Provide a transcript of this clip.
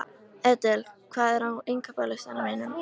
Edel, hvað er á innkaupalistanum mínum?